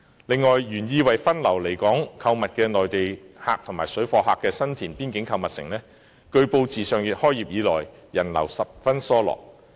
此外，原意為分流來港購物的內地客和水貨客的新田邊境購物城，據報自上月開業以來，人流十分疏落。